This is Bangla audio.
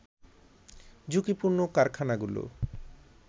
ঝুঁকিপূর্ণ কারখানাগুলো